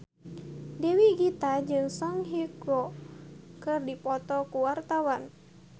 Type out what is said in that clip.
Dewi Gita jeung Song Hye Kyo keur dipoto ku wartawan